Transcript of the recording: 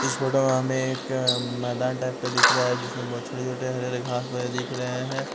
इस फोटो में हमें एक अ मैदान टाइप का दिख रहा है जिसमें बहुत छोटे-छोटे हरे हरे घास वगैरह दिख रहे हैं।